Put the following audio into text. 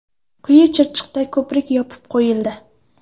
Quyi Chirchiqda ko‘prik yopib qo‘yildi.